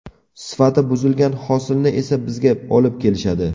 Sifati buzilgan hosilni esa bizga olib kelishadi.